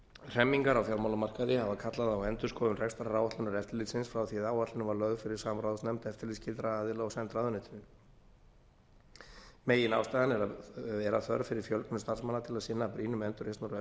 hremmingar á fjármálamarkaði hafa kallað á endurskoðun rekstraráætlunar eftirlitsins frá því að áætlun var lögð fyrir samráðsnefnd eftirlitsskyldra aðila og send ráðuneytinu meginástæðan er að þörf fyrir fjölgun starfsmanna til að sinna brýnum endurreisnar